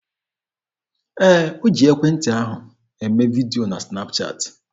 Ee, o ji ekwentị ahụ eme vidio na sịnap chaatị.